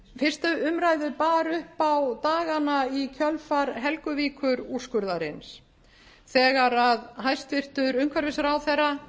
fyrstu umræðu bar upp á dagana í kjölfar helguvíkurúrskurðarins þegar að hæstvirtur umhverfisráðherra